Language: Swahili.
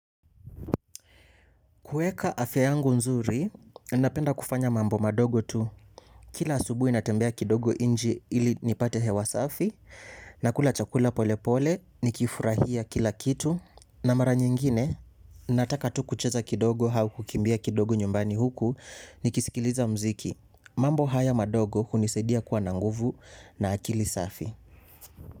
Kuweka afya yangu nzuri, ninapenda kufanya mambo madogo tu. Kila asubuhi natembea kidogo inje ili nipate hewa safi, nakula chakula pole pole, nikifurahia kila kitu. Na mara nyingine, nataka tu kucheza kidogo au kukimbia kidogo nyumbani huku, nikisikiliza mziki. Mambo haya madogo hunisaidia kuwa na nguvu na akili safi.